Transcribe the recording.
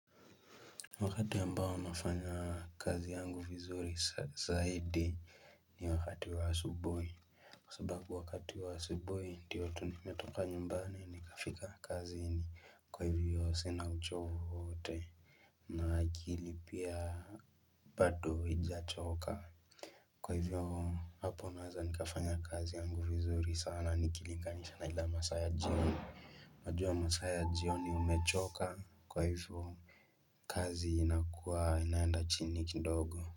Wakati ambao nafanya kazi yangu vizuri zaidi ni wakati wa asubuhi kwa sababu wakati wa asubuhi ndiyo tu nimetoka nyumbani nikafika kazini kwa hivyo sina uchovu wowote na akili pia bado haijachoka kwa hivyo hapo naweza nikafanya kazi yangu vizuri sana nikilinga nisha na ile masaa ya jioni najua masaa ya jioni umechoka kwa hivyo kazi inakuwa inaenda chini kidogo.